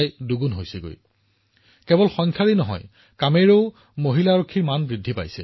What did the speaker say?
তেওঁলোকৰ উপস্থিতিৰ জৰিয়তে আটাইতকৈ ইতিবাচক প্ৰভাৱ আমাৰ আৰক্ষী বাহিনীৰ লগতে সমাজৰ মনোবলৰ ওপৰত পৰে